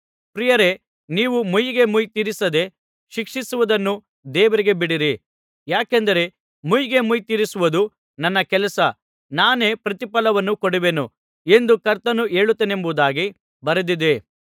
ಪ್ರಿಯರೇ ನೀವೇ ಮುಯ್ಯಿಗೆ ಮುಯ್ಯಿ ತೀರಿಸದೆ ಶಿಕ್ಷಿಸುವುದನ್ನು ದೇವರಿಗೆ ಬಿಡಿರಿ ಯಾಕೆಂದರೆ ಮುಯ್ಯಿಗೆ ಮುಯ್ಯಿ ತೀರಿಸುವುದು ನನ್ನ ಕೆಲಸ ನಾನೇ ಪ್ರತಿಫಲವನ್ನು ಕೊಡುವೆನು ಎಂದು ಕರ್ತನು ಹೇಳುತ್ತಾನೆಂಬುದಾಗಿ ಬರೆದಿದೆ